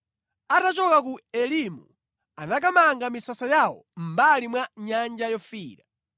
Atachoka ku Elimu anakamanga misasa yawo mʼmbali mwa Nyanja Yofiira.